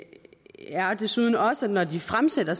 er desuden også når de fremsætter